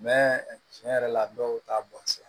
tiɲɛ yɛrɛ la dɔw t'a bɔn sisan